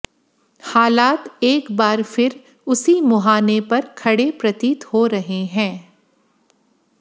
हालात एक बार फिर उसी मुहाने पर खड़े प्रतीत हो रहे हैं